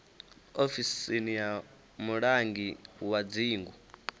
ofisini ya mulangi wa dzingu